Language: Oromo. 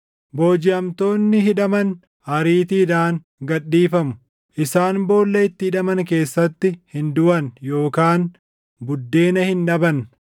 Boojiʼamtoonni hidhaman ariitiidhaan gad dhiifamu; isaan boolla itti hidhaman keessatti hin duʼan yookaan buddeena hin dhaban.